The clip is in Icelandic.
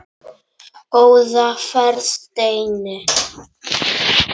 Góða ferð, Steini.